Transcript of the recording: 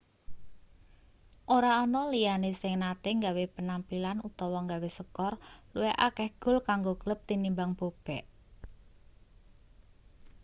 ora ana liyane sing nate gawe penampilan utawa gawe skor luwih akeh gol kanggo klub tinimbang bobek